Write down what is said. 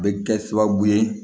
A bɛ kɛ sababu ye